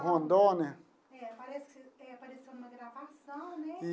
Rondônia. É, parece que você eh apareceu numa gravação, né?